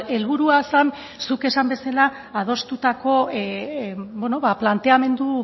helburua zen zuk esan bezala adostutako planteamendu